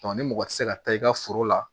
ni mɔgɔ tɛ se ka taa i ka foro la